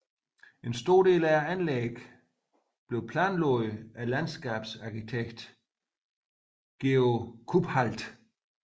En stor del af anlæggene planlagdes af landskabsarkitekten Georg Kuphaldt